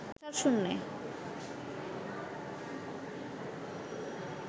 অসাড় শূন্যে